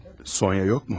Sonya yox mu?